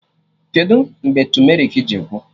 Kedụ mgbe tumerik ji gwụ?